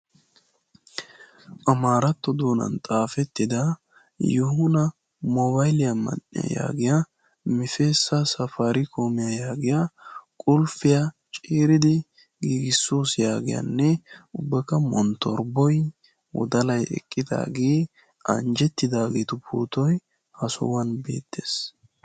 Amaratto doonan xaafetida Yoohona mobbaliya man"iyaa yaagiya Misseesa safarikkomiyaa yaagiyaa ubbakka monttorbboy anjjetidaageetu pootoy eqqidaage ha sohuwaan beettees.